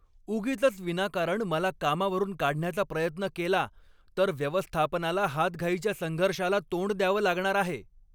उगीचच विनाकारण मला कामावरून काढण्याचा प्रयत्न केला तर व्यवस्थापनाला हातघाईच्या संघर्षाला तोंड द्यावं लागणार आहे.